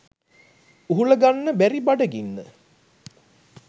උහුලගන්න බැරි බඩගින්න